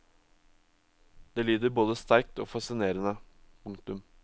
Det lyder både sterkt og fascinerende. punktum